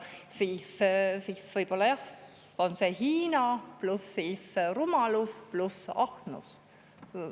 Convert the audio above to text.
Võib-olla on siis Hiina, pluss rumalus, pluss ahnus.